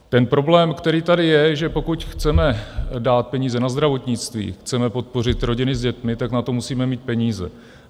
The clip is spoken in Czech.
Ten problém, který tady je, že pokud chceme dát peníze na zdravotnictví, chceme podpořit rodiny s dětmi, tak na to musíme mít peníze.